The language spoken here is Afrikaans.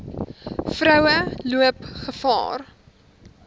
vroue loop gevaar